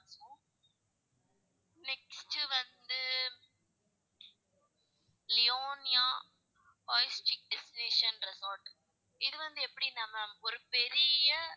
Next வந்து லியோன்லியா destination resort இது வந்து எப்படின்னா ma'am ஒரு பெரிய,